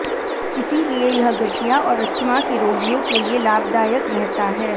इसीलिए यह गठिया और अस्थमा के रोगियों के लिए लाभदायक रहता है